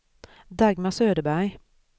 Dagmar Söderberg